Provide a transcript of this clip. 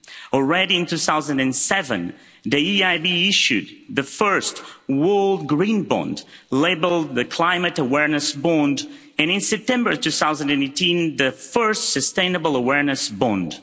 Already in 2007, the EIB issued the first World Green Bond, labelled the Climate Awareness Bond, and in September 2018, the first sustainable awareness bond.